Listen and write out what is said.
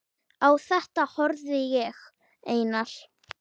Á þetta horfði ég, Einar